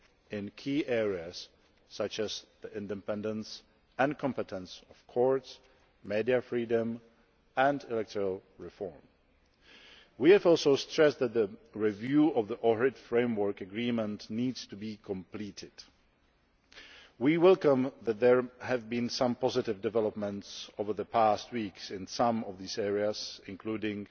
in key areas such as the independence and competence of courts, media freedom and electoral reform. We have also stressed that the review of the Ohrid Framework Agreement needs to be completed. We welcome that there have been some positive developments over the past weeks in some of these areas, including